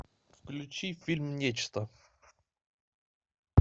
включи фильм нечто